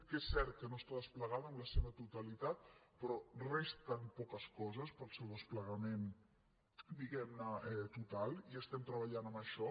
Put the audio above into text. que és cert que no està desplegada en la seva totalitat però resten poques coses per al seu desplegament di·guem·ne total i estem treballant en això